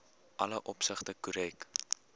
alle opsigte korrek